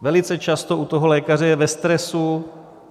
Velice často u toho lékaře je ve stresu.